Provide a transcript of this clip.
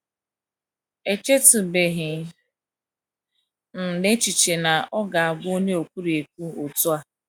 “ Echetụbeghị m n’echiche na ọ ga - abụ onye ekwurekwu otú a! ”